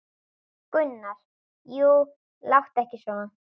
Gunnar: Jú, láttu ekki svona.